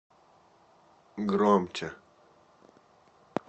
громче